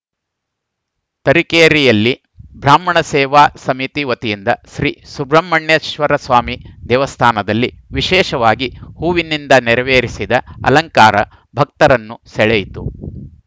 ತರೀಕೆರೆಯಲ್ಲಿ ಬ್ರಾಹ್ಮಣ ಸೇವಾ ಸಮಿತಿ ವತಿಯಿಂದ ಶ್ರೀ ಸುಬ್ರಹ್ಮಣ್ಯೇಶ್ವರಸ್ವಾಮಿ ದೇವಸ್ಥಾನದಲ್ಲಿ ವಿಶೇಷವಾಗಿ ಹೂವಿನಿಂದ ನೆರವೇರಿಸಿದ ಅಲಂಕಾರ ಭಕ್ತರನ್ನು ಸೆಳೆಯಿತು